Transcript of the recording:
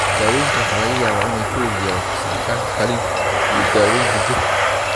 Daawaynta waxaa laga yaabaa inay ku lug yeelato sixitaanka qaliinka iyo daaweynta jirka.